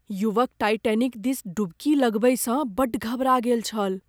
युवक टाइटैनिक दिस डुबकी लगबैसँ बड्ड घबरा गेल छल।